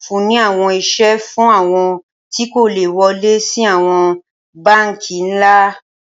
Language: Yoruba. nfunni awọn iṣẹ fun awọn ti ko le wọle si awọn banki nla